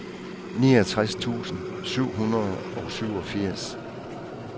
niogtres tusind syv hundrede og syvogfirs